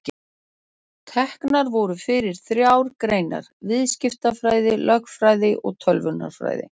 Teknar voru fyrir þrjár greinar: Viðskiptafræði, lögfræði og tölvunarfræði.